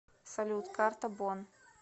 салют карта бонн